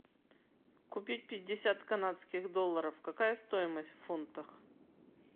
купить пятьдесят канадских долларов какая стоимость в фунтах